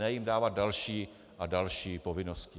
Ne jim dávat další a další povinnosti.